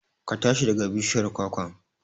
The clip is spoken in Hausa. Ka tashi daga bishiyar kwakwan!